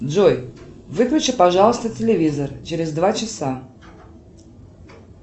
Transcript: джой выключи пожалуйста телевизор через два часа